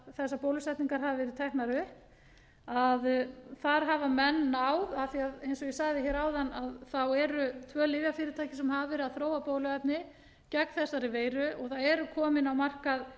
þessar bólusetningar hafa verið teknar upp að þar hafa menn náð af því að eins og ég sagði hér áðan eru tvö lyfjafyrirtæki sem hafa verið að þróa bóluefni gegn þessari veiru og það eru komin á markað